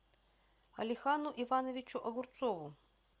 алихану ивановичу огурцову